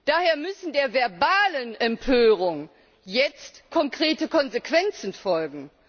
Daher müssen der verbalen Empörung jetzt konkrete Konsequenzen folgen.